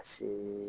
Ka see